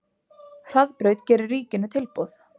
Hraðbraut gerir ríkinu tilboð